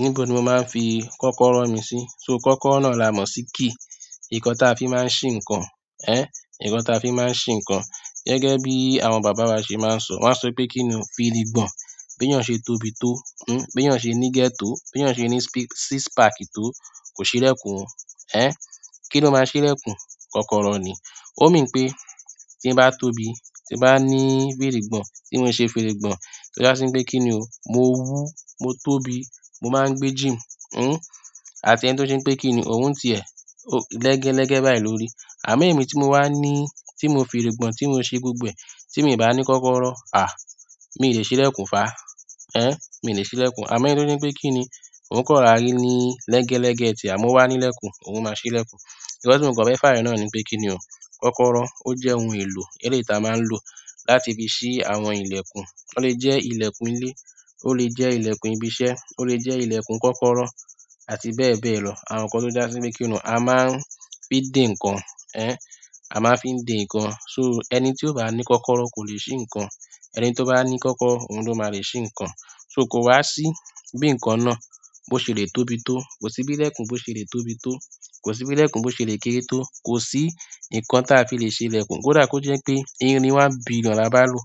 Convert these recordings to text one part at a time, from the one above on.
Níbo ni mo máa ń fi kọ́kọ́rọ́ mi sí? So kọ́kọ́rọ́ náà la mọ́ sí key? Nkan taa fi máa ń ṣí nǹkan. Nkan taa fi máa ń ṣí nǹkan. Gẹ́gẹ́ bí àwọn bàbá wa ṣe máa ń sọ, wọ́n á sọ pé kíni o firigbọ̀n. Bi eyan se tóbi to, bi eyan se ni ige to, bi eyan se ni six packs to, ko si ilekun o. Kí ni ó máa ṣí lẹ́kùn? Kọ́kọ́rọ́ ni. Ó mean pé tí n bá tóbi, tí n bá ní fírì gbọ̀n, tí mo ṣe firi gbọ̀n, tí ó jásí pé kí ni o, mo wú, mo tóbi, mo máa ń gbé gym. Àti ẹni tó ṣé n pé kí ni, òun n ti ẹ̀ lẹ́gẹ́ lẹ́gẹ́ báyìí lórí. Àmo emi tí mo wá ní, tí mo fi rí gbọ̀n, tí mo ṣe gbogbo ẹ̀, tí mi ò bá ní kọ́kọ́rọ́, mi ò lè ṣí lẹ́kùn fá. Mi ò lè ṣí lẹ́kùn. Àmo ẹni tó se n pé kí ni, òun kan rora rí ní lẹ́gẹ́ lẹ́gẹ́ ti e amo o wá ní lẹ́kùn, òun máa ṣí lẹ́kùn. Nkan ti mo kan fẹ́ fàyo náà ni pé kí ni o, kọ́kọ́rọ́, ó jẹ́ ohun èlò eleyi tí a máa ń lò láti fi ṣí àwọn ilẹ̀kùn. Ó lè jẹ́ ilẹ̀kùn ilé, ó lè jẹ́ ilẹ̀kùn ibi iṣẹ́, ó lè jẹ́ ilẹ̀kùn kọ́kọ́rọ́ àti bẹ́ẹ̀ bẹ́ẹ̀ lọ. Àwọn nǹkan tó jásí pé kí ni o, a máa ń fi dè nǹkan. A máa ń fi dè nǹkan. So ẹni tí ó bá ní kọ́kọ́rọ́ kò lè ṣí nǹkan. Ẹni tí ó bá ní kọ́kọ́rọ́ òun ló máa lè ṣí nǹkan. So kò wá sí bí nǹkan náà bó ṣe lè tóbi tó, kò sí bí lẹ́kùn bó ṣe lè tóbi tó, kò sí bí lẹ́kùn bó ṣe lè kéré tó, kò sí nǹkan tí a fi lè ṣe lẹ́kùn. Kò dà kó jẹ́ pé irin one billion la bá lò.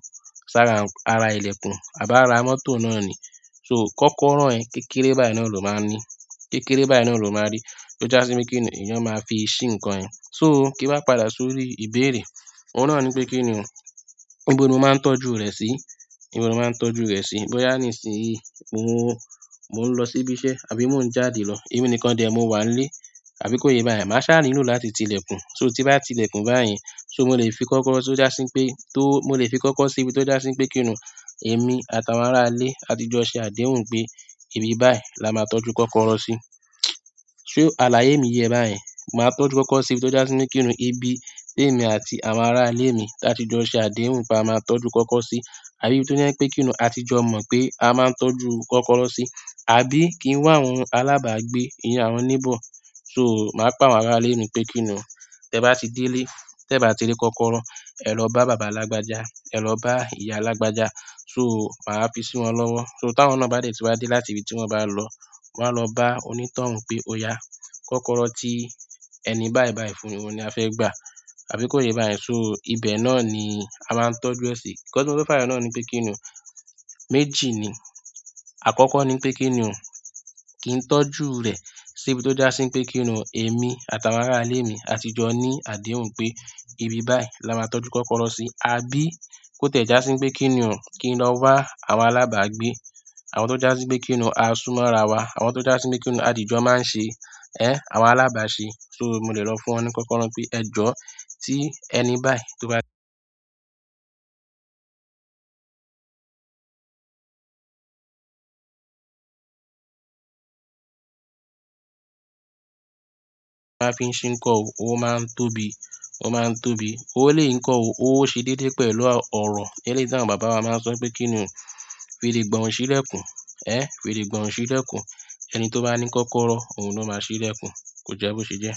Ṣàrà ara ilẹ̀kùn, àbí ára mọ́tò náà ni. So kọ́kọ́rọ́ yẹ̀n kékeré báyìí náà ló máa ń ní. Kékéré báyìí náà ló máa rí. O jásí pe kini, eyan maa fi si nkan yen. So, kin wa padà sórí ìbéèrè, oun náà ni pe kini o, ibo ni mo maa n tọ́jú re si. Níbo ni o máa ń tọ́jú rẹ̀ sí? Bóyá nísinyìí mo ń lọ sí ibi iṣẹ́ àbí mo ń jáde lọ, emi nìkan dẹ ni mo wà nílé àbí kó ye báyen, màá sáa nílò láti ti ilẹ́kùn. So tí n bá ti ilẹ́kùn báyen, so mo lè fi kọ́kọ́rọ́ tó jásí pé tó, mo lè fi kọ́kọ́rọ́ sí ibi tó jásí pé kí ni o, èmi àtàwọn ará ilé àtijọ́ ṣe àdéhùn pé ibi báyìí la máa tọ́jú kọ́kọ́rọ́ sí. Se àlàyé mi yẹ e báyen, màá tọ́jú kọ́kọ́rọ́ sí ibi tó jásí pé kí ni o, ibi tí èmi àti àwọn ará ilé mi ti áti jọ ṣe àdéhùn pé a máa tọ́jú kọ́kọ́rọ́ sí. Àbí ibi tó jẹ́ pé kí ni o, àtijọ́ mọ̀ pé a máa ń tọ́jú kọ́kọ́rọ́ sí. Àbí kí ń wá àwọn alábàágbé, iyen àwọn neighbour. So màá pe àwọn ará ilé mi pé kí ni o, tẹ bá ti dé ilé, tẹ o bá ti rí kọ́kọ́rọ́, ẹ lọ bá bàbá lágbájá, ẹ lọ bá ìyá lágbájá. So màá fi sí wọn lọ́wọ́. So táwọn náà bá dètí wá dé láti ibi tí wọ́n bá lọ, wọ́n á lọ bá onítọ̀hún pé oyà, kọ́kọ́rọ́ tí ẹni báyìí báyìí fún wọn ni a fẹ́ gbà. Àbí kó ye yin báyìí, so ibẹ̀ náà ni a máa ń tọ́jú rẹ̀ sí. Nkan ti a fẹ́ fàyo níbẹ̀ náà ni pé kí ni o, méjì ni. Àkọ́kọ́ ni pé kí ni o, kí n tọ́jú rẹ̀ sí ibi tó jásí pé kí ni o, èmi àtàwọn ará ilé mi àtijọ́ ní àdéhùn pé ibi báyìí la máa tọ́jú kọ́kọ́rọ́ sí. Àbí kó tiẹ̀ já sí pé kí ni o, kí n lọ wá àwọn alábàágbé. Àwọn tó jásí pé kí ni o, a súnmọ́ ara wa. Àwọn tó jásí pé kí ni o, àtijọ́ máa ń ṣe. Àwọn alábàá ṣe. So mo lè lọ fún wọn ní kọ́kọ́rọ́ pé ẹ jọ́, tí ẹni báyìí tó bá ti. Máa fi ń ṣí ǹko o, ó máa ń tóbi, ó máa ń tóbi. Ó lé ǹko o, ó ṣe déédé pẹ̀lú oro. Eleyi táwọn bàbá wa máa ń sọ pé kí ni o, firi gbọ̀n ò sí lẹ́kùn. Fèrè gbọ̀n ò sí lẹ́kùn. Ẹni tó bá ní kọ́kọ́rọ́ òun ló máa ṣí lẹ́kùn. Kò jẹ́ bó ṣe jẹ́.